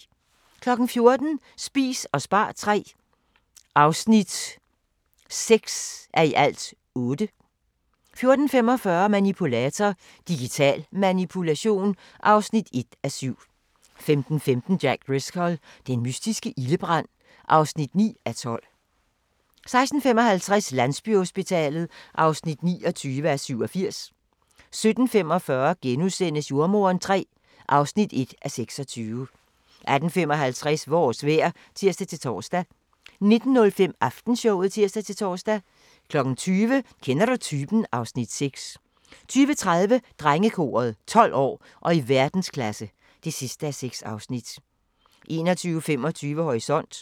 14:00: Spis og spar III (8:8) 14:45: Manipulator - Digital Manipulation (1:7) 15:15: Jack Driscoll – den mystiske ildebrand (9:12) 16:55: Landsbyhospitalet (29:87) 17:45: Jordemoderen III (1:26)* 18:55: Vores vejr (tir-tor) 19:05: Aftenshowet (tir-tor) 20:00: Kender du typen? (Afs. 6) 20:30: Drengekoret – 12 år og i verdensklasse (6:6) 21:25: Horisont